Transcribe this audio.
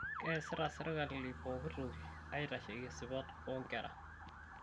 Keesita serkali pooki toki aitasheki sipat oo nkera